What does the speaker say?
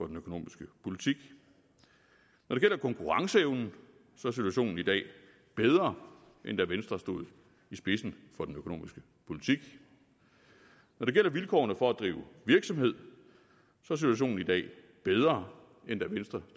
den økonomiske politik når det gælder konkurrenceevnen er situationen i dag bedre end da venstre stod i spidsen for den økonomiske politik når det gælder vilkårene for at drive virksomhed er situationen i dag bedre end da venstre